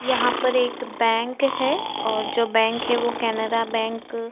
यहाँ पर एक बैंक है और जो बैंक है वो कैनेरा बैंक --